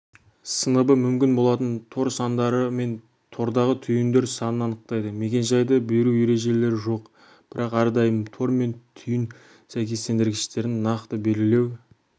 сыныбы мүмкін болатын тор сандары мен тордағы түйіндер санын анықтайды мекен-жайды беру ережелері жоқ бірақ әрдайым тор мен түйін сәйкестендіргіштерін нақты белгілеу